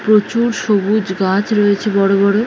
প্রচুর সবুজ গাছ রয়েছে বড়ো বড়ো ।